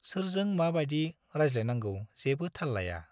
सोरजों माबाइदि रायज्लायनांगौ जेबो थाल लाया।